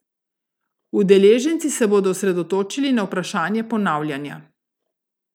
Udeleženci se bodo osredotočili na vprašanje ponavljanja.